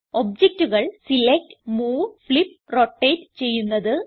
ഒബ്ജക്റ്റുകൾ select move flip rotate ചെയ്യുന്നത്